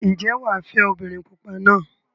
Ǹjẹ́ wà á fẹ́ obìnrin pupa náà?